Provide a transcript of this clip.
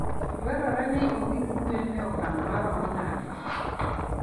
Dwarore ni orit gwen e okang' maromo nade?